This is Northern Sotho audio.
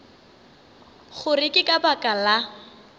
gore ke ka baka la